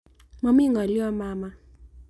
Momii ng'olyo mama.